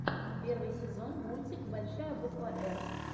первый сезон мультик большая буква р